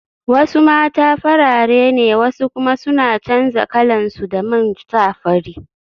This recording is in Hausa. Wasu mata farare ne wasu kuma suna canza kalansu da man sa fari